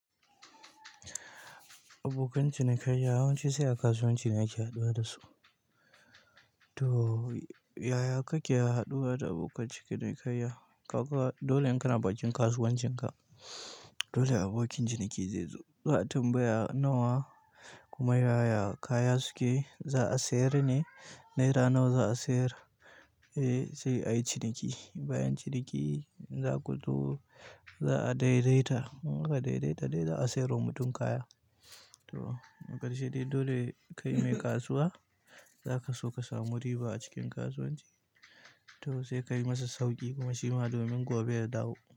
Abokan cinikayya yawanci sai a kasuwanci ne ake haɗuwa da su. To, yaya kake haɗuwa da abokan cinikayya? Ka dole in kana bakin kasuwancin ka, dole abokin ciniki zai zo. Za'a tambaya nawa kuma yaya kaya suke za a sayar ne. Naira nawa za a sayar, eh sai ayi ciniki. Bayan ciniki, za ku zo za a daidaita. In ka daidaita dai za a siyar wa mutum kaya. To, akarshi dai dole kai mai kasuwa, zaka so ka samu riba a cikin kasuwanci. To sai kayi masa sauƙi domin kuma shima domin gobe yadawo.